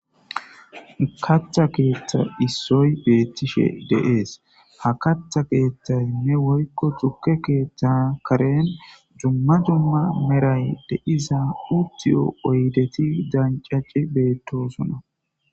katha keeththa issoy beettishe deees ha katha keeththayme woykko tukke keeththa karen jumma jumma meray de iza hutiyo oydeti dancaci beettosona